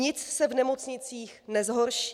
Nic se v nemocnicích nezhorší.